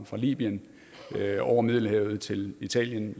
fra libyen over middelhavet til italien